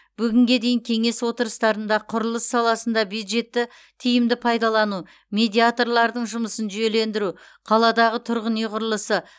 бүгінге дейін кеңес отырыстарында құрылыс саласында бюджетті тиімді пайдалану медиаторлардың жұмысын жүйелендіру қаладағы тұрғын үй құрылысы